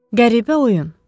Qəribə oyun.